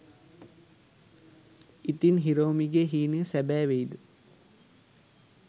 ඉතින් හිරෝමිගේ හීනය සැබෑ වෙයිද ?